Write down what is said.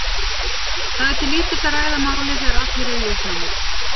Það er til lítils að ræða málið þegar allir eru í uppnámi.